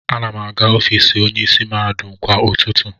Ana m aga n'ọfịs onyeisi mahadum kwa ụtụtụ.